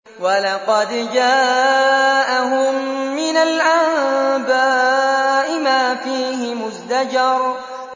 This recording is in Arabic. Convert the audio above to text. وَلَقَدْ جَاءَهُم مِّنَ الْأَنبَاءِ مَا فِيهِ مُزْدَجَرٌ